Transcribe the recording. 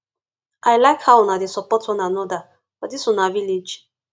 i like how una dey support one another for dis una village